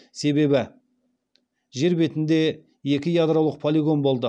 себебі жер бетінде екі ядролық полигон болды